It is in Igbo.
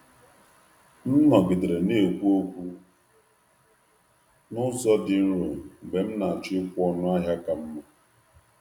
M nọgidere na-ekwu okwu n’ụzọ dị nro mgbe m na-achọ ịkwụ ọnụ ahịa ka mma.